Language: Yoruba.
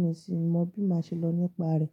mi ò sì mọ bí máa ṣe lọ nípa rẹ̀.